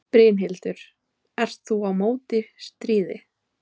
Brynhildur: Ert þú á móti stríði?